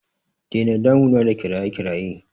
Dena damuna da kiraye kiraye!